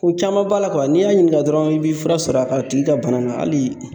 Ko caman b'a la n'i y'a ɲininka dɔrɔn i bɛ fura sɔrɔ a tigi ka bana na hali.